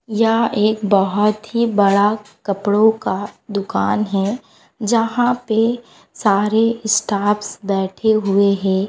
यह एक बहुत ही बड़ा कपड़ों का दुकान है यहां पे सारे स्टाफ्स बैठे हुए है।